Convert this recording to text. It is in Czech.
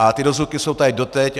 A ty dozvuky jsou tady doteď.